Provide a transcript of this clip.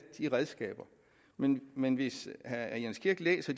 redskaber men men hvis herre jens kirk læser